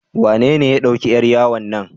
Wanene ya ɗauki yar yawo na?